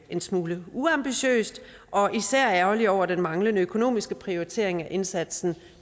en smule uambitiøst og er især ærgerlige over den manglende økonomiske prioritering af indsatsen